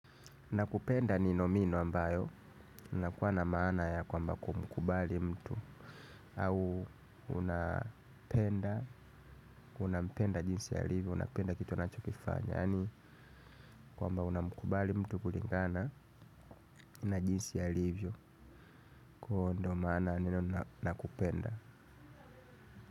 Na kupenda ni nomino ambayo inakuwa na maana ya kwamba kumkubali mtu. Au unapenda, unampenda jinsi alivyo, unapenda kitu anachokifanya. Yani kwamba unamkubali mtu kulingana na jinsi alivyo. Kwa huo ndo maana ya neno nakupenda.